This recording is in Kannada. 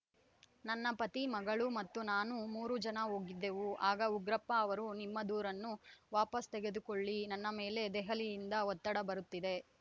ನನ್ನ ಪತಿ ಮಗಳು ಮತ್ತು ನಾನು ಮೂರೂ ಜನ ಹೋಗಿದ್ದೆವು ಆಗ ಉಗ್ರಪ್ಪ ಅವರು ನಿಮ್ಮ ದೂರನ್ನು ವಾಪಸ್‌ ತೆಗೆದುಕೊಳ್ಳಿ ನನ್ನ ಮೇಲೆ ದೆಹಲಿಯಿಂದ ಒತ್ತಡ ಬರುತ್ತಿದೆ